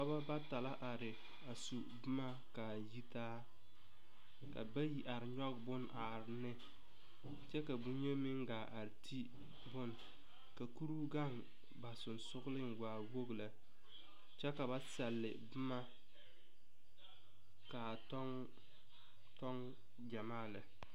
Pɔgebɔ bata la are a su boma kaa yi taa ka bayi are nyɔge bon are ne kyɛ ka boyeni a te bon ka kuruu gaŋ ba sɔgsɔgliŋ waa wogi lɛ kyɛ la na sɛl boma kaa tɔgtɔg gyamaa lɛ.